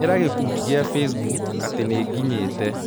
Ĩra gĩkundi gĩakwa gĩa Facebook atĩ nĩ nginyĩte